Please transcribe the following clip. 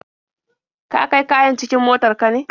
Ka kai kayan cikin motar ka ne?